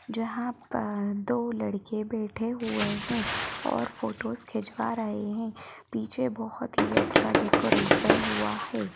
जहां पर दो लड़के बैठे हुए हैं और फोटोज़ खिंचवा रहे हैं पीछे बहुत ही अच्छा डेकोरेशन हुआ है।